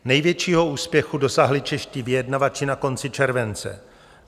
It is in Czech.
Největšího úspěchu dosáhli čeští vyjednávači na konci července.